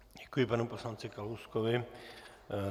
Děkuji panu poslanci Kalouskovi.